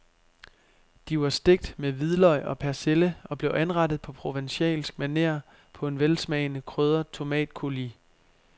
De var stegt med hvidløg og persille og blev anrettet på provencalsk maner på en velsmagende krydret tomatcoulis.